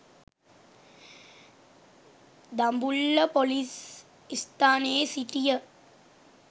Dambulla police ස්ථානයේ සිටය.